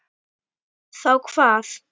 Þá hvað?